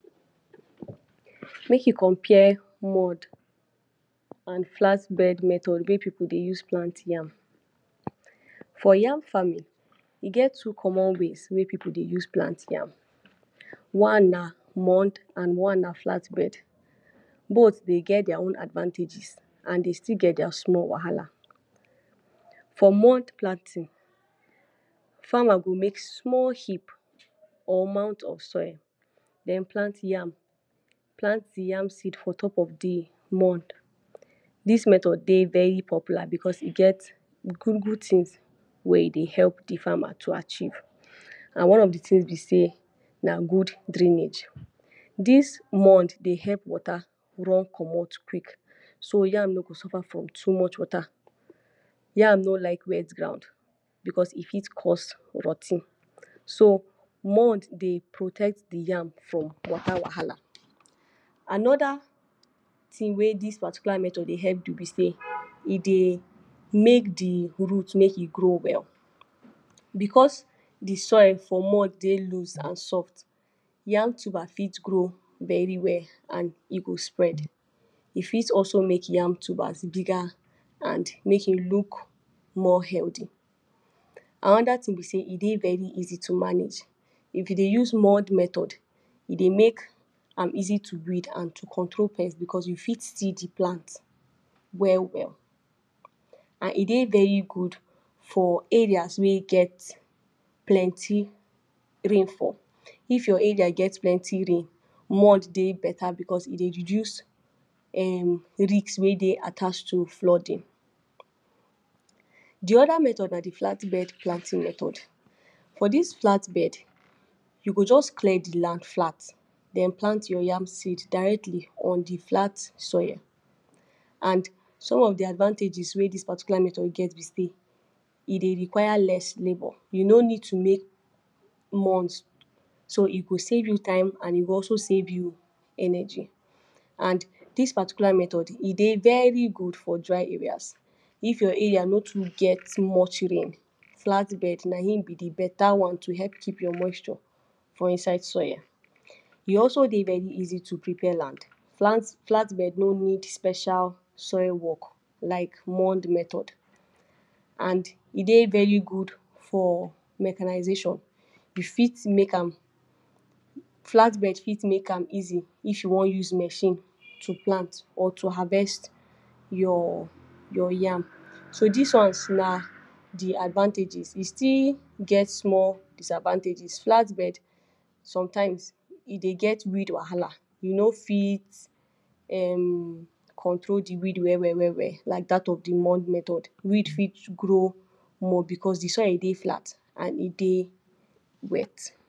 Make you compare mud and flatbed method wey pipu dey use plant yam, for yam farming e get two common ways wey pipu dey use plant yam one na mud and one na flatbed both dey get their own advantages and dey still get their small wahala for mud planting farmer go make small heap or mound of soil den plant yam, plant the yam seed for top of the mud, this method dey very popular because e get good good things wey e dey help the farmer to achieve and one of the things be say na good drainage, this mud dey help water run commot quick so yam no go suffer from too much water, yam no like wet ground because e fit cause rot ten, so mud dey protect the yam from water wahala another thing wey this particular method dey help do be sey e dey make the root make e grow well because the soil for mud dey loosed and soft yam tuber fit grow very well and e go spread e fit also make yam tubers bigger and make e look more healthy. Another thing be sey e dey very easy to manage if you dey use mud method e dey make am easy to weed and to control pest because you fit see the plant well well, and e dey very good for areas wey get plenty rainfall, if your area get plenty rain mud dey better because e dey reduce risk wey dey attached to flooding. The other method na the flat bed planting method for this flatbed you go just clear the land flat den plant your yam seed directly on the flat soil and some of the advantages wey this particular method get be sey e dey require less labor you no need to make mud so e go save you time and e go also save you energy and this particular method e dey very good for dry areas if your area no too get much rain flatbed na in be the better one to help keep your moisture for inside soil, e also dey very easy to prepare land flat bed no need special soil work like mud method and e dey very good for mechanization you fit make am, flat bed fit make am easy if you want use machine to plant or to harvest your yam so this ones na the advantages e still get small disadvantages flatbed sometimes e dey get weed wahala you no fit hmm control the weed well well well well like that of the mud method weed fit grow more because the soil dey flat and e dey wet.